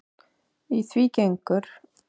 Í því gengur